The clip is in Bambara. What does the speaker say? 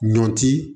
Ɲɔ ti